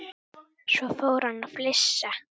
Svo fór hann að flissa.